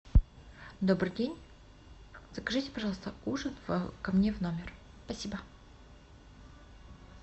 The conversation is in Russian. добрый день закажите пожалуйста ужин ко мне в номер спасибо